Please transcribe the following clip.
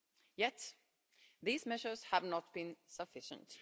yet these measures have not been sufficient.